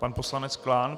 Pan poslanec Klán.